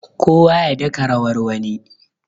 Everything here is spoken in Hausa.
kowa ya daka rawar wani